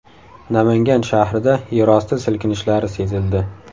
Namangan shahrida yerosti silkinishlari sezildi.